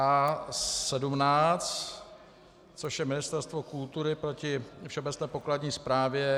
A17, což je Ministerstvo kultury proti Všeobecné pokladní správě.